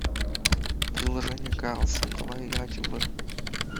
приложение карлсон давай играть в